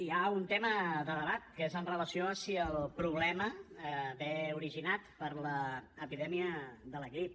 hi ha un tema de debat que és amb relació a si el problema ve originat per l’epidèmia de la grip